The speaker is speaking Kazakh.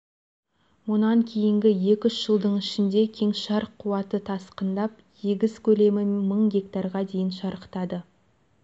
мұнан кейінгі екі-үш жылдың ішінде кеңшар қуаты тасқындап егіс көлемі мың гектарға дейін шарықтады